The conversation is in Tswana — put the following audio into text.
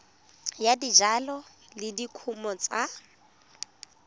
ya dijalo le dikumo tsa